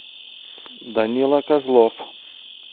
данила козлов